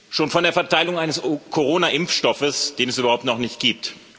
schon von der Verteilung eines Corona Impfstoffes, den es überhaupt noch nicht gibt.